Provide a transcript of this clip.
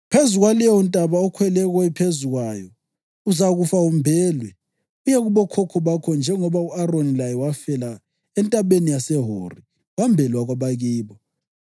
Phezu kwaleyontaba okhwele phezu kwayo uzakufa umbelwe uye kubokhokho bakho njengoba u-Aroni laye wafela entabeni yaseHori wembelwa kwabakibo.